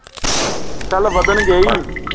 ਆਹੋ ਚੱਲ ਵਧਣਗੇ ਹੀ